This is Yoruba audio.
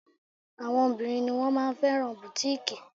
Àwọn obìnrin ni wón máa ma fẹ́ràn bùtíkìì.